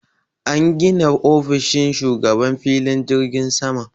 An gina ofishin shugaban filin jirgin saman.